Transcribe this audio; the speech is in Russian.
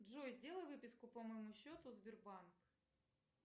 джой сделай выписку по моему счету сбербанк